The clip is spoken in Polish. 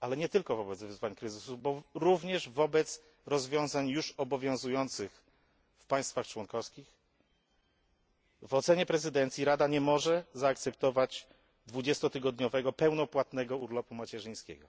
ale nie tylko, bo również wobec rozwiązań już obowiązujących w państwach członkowskich, w ocenie prezydencji Rada nie może zaakceptować dwudziestotygodniowego pełnopłatnego urlopu macierzyńskiego.